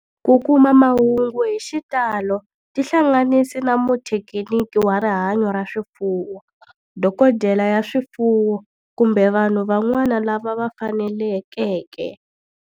Ku kuma mahungu hi xitalo tihlanganisi na muthekiniki wa rihanyo ra swifuwo, dokodela ya swifuwo, kumbe vanhu van'wana lava fanelekeke.